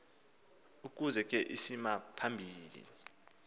ukuze ke isimaphambili